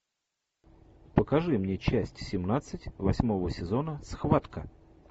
покажи мне часть семнадцать восьмого сезона схватка